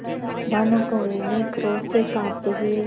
भानुकुँवरि ने क्रोध से कॉँपते हुए